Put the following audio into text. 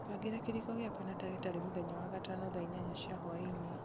bangĩra kĩrĩĩko gĩakwa na ndagĩtarĩ mũthenya wa gatano thaa inyanya cia hwainĩ